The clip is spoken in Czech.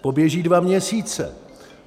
Poběží dva měsíce.